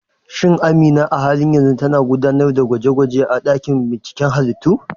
Shin Amina a halin yanzu tana gudanar da gwaje-gwaje a dakin binciken halittu?